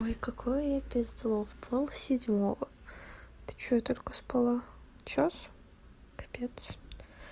ой какое я пиздло в пол седьмого это что я только спала час капец